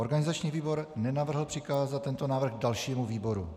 Organizační výbor nenavrhl přikázat tento návrh dalšímu výboru.